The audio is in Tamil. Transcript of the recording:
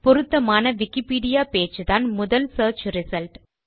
பொருத்தமான விக்கிபீடியா பேஜ் தான் முதல் சியர்ச் ரிசல்ட்